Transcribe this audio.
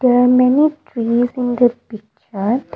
There are many trees in the picture.